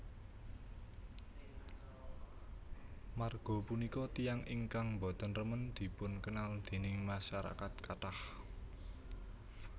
Marga punika tiyang ingkang boten remen dipunkenl déning masarakat kathah